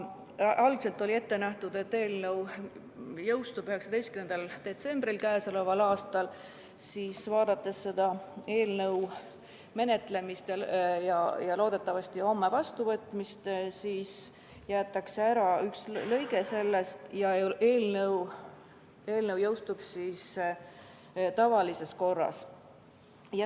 Algselt oli ette nähtud, et eelnõu jõustub k.a 19. detsembril, aga vaadates selle eelnõu menetlemist ja loodetavasti homset vastuvõtmist, jäetakse eelnõust üks paragrahv välja, nii et eelnõu jõustub tavalises korras.